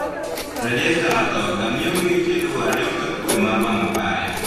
Rejesta matoka miyo geche luwo arita kwee mar wang' apaya